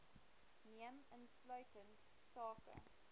neem insluitend sake